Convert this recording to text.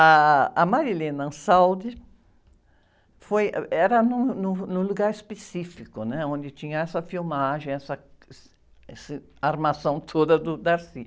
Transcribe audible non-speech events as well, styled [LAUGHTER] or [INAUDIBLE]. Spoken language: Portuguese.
Ah, a, [UNINTELLIGIBLE] foi, ãh, uh, era num, num, num lugar específico, né? Onde tinha essa filmagem, essa, esse, essa armação toda do. [UNINTELLIGIBLE]